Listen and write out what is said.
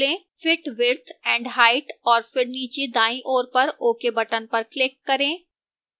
fit width and height और फिर नीचे दाईं ओर पर ok button पर click करें